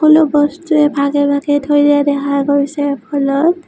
বস্তুৱেই ভাগে ভাগে থৈ দিয়া দেখা গৈছে ।